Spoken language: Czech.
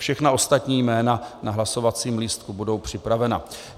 Všechna ostatní jména na hlasovacím lístku budou připravena.